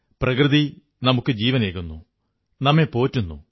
പ്രകൃതി നമുക്കു ജീവനേകുന്നു നമ്മെ പോറ്റുന്നു